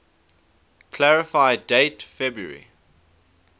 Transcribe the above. clarify date february